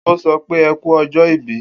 O sopé eku ọjọ ìbí